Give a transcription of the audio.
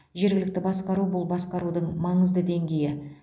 жергілікті басқару бұл басқарудың маңызды деңгейі